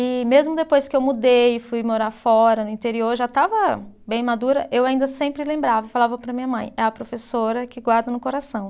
E mesmo depois que eu mudei, fui morar fora, no interior, já estava bem madura, eu ainda sempre lembrava, falava para minha mãe, é a professora que guardo no coração.